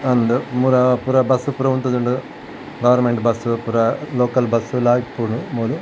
ಅಂದ್ ಮುರ ಪುರ ಬಸ್ಸ್ ಪೂರ ಉಂತುದುಂಡು ಗಾರ್ಮೆಂಟ್ ಬಸ್ಸ್ ಪುರಾ ಲೋಕಲ್ ಬಸ್ಸ್ ಲಾ ಇಪ್ಪುಂಡು ಮೂಲು.